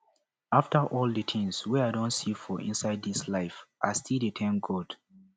after all the things wey i don see for inside this life i still dey thank god